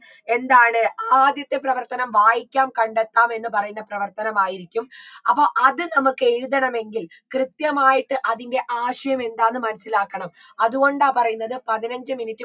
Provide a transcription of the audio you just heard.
എന്താണ് ആദ്യത്തെ പ്രവർത്തനം വായിക്കാം കണ്ടെത്താം എന്ന് പറയുന്ന പ്രവർത്തനമായിരിക്കും അപ്പൊ അത് നമ്മക്ക് എഴുതണമെങ്കിൽ കൃത്യമായിട്ട് അതിൻറെ ആശയമെന്താന്ന് മനസിലാക്കണം അതുകൊണ്ടാ പറയുന്നത് പതിനഞ്ചു minute